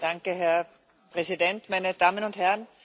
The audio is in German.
Herr Präsident, meine Damen und Herren!